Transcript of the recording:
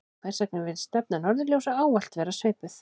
hvers vegna virðist stefna norðurljósa ávallt vera svipuð